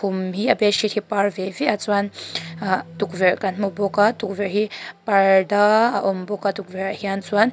khum hi a bed sheet hi par ve ve a chuan ahh tukvelh kan hmu bawk a tukverh hi parda a awm bawk a tukverh ah hian chuan --